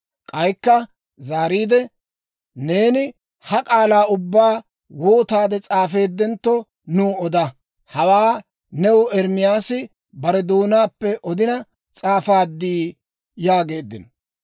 K'aykka zaariide Baaruka, «Neeni ha k'aalaa ubbaa wootaade s'aafeeddentto nuw oda. Hawaa new Ermaasi bare doonaappe odina s'aafaadii?» yaageeddino.